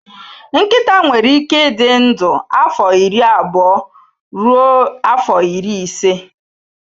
Nkịta nwere ike ịdị ndụ afọ iri abụọ ruo afọ iri ise